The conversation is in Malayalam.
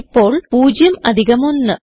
ഇപ്പോൾ 0 അധികം 1